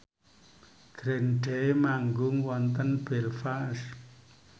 Green Day manggung wonten Belfast